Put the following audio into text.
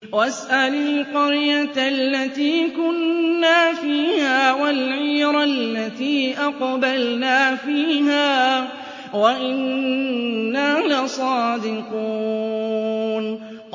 وَاسْأَلِ الْقَرْيَةَ الَّتِي كُنَّا فِيهَا وَالْعِيرَ الَّتِي أَقْبَلْنَا فِيهَا ۖ وَإِنَّا لَصَادِقُونَ